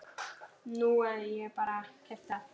Nú ég bara. keypti það.